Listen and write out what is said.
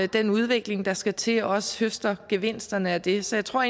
den udvikling der skal til også høster gevinsterne af det så jeg tror